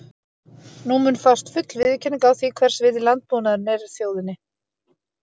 Nú mun fást full viðurkenning á því, hvers virði landbúnaðurinn er þjóðinni.